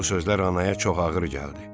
Bu sözlər anaya çox ağır gəldi.